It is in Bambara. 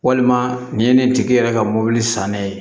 Walima nin ye nin tigi yɛrɛ ka mɔbili san ne ye